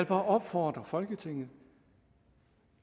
bare opfordre folketinget